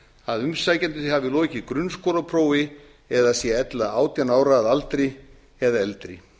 b að umsækjandi hafi lokið grunnskólaprófi eða sé ella átján ára að aldri eða eldri